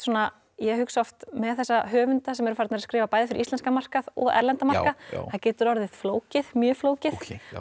ég hugsa oft með þessa höfunda sem eru farnir að skrifa bæði fyrir íslenskan markað og erlendan markað að það getur orðið flókið mjög flókið